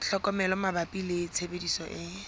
tlhokomelo mabapi le tshebediso e